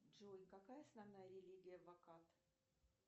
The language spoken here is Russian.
джой какая основная религия в вакат